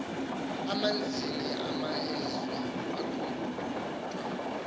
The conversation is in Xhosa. amaninzi emeazweni akuwntya